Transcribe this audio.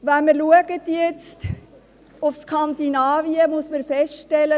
Wenn wir nach Skandinavien schauen, müssen wir folgendes feststellen: